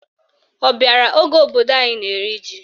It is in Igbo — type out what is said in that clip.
Ọ bịara oge obodo anyị na-eri ji?